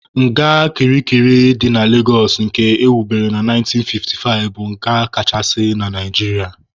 Nga kirikiri dị na Legosụ nke ewubere na 1955 bụ nga kachasị na Naijiria.